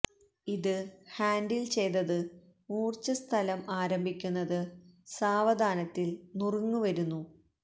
ഇത് ഹാൻഡിൽ ചെയ്തത് മൂർച്ച സ്ഥലം ആരംഭിക്കുന്നത് സാവധാനത്തിൽ നുറുങ്ങ് വരുന്നു